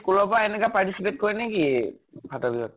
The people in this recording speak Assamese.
school ৰ পৰা এনেকা participate কৰে নেকি ফাতৰ বিহুত?